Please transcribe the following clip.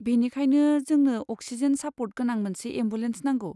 बेनिखायनो, जोंनो oxygen support गोनां मोनसे एम्बुलेन्स नांगौ।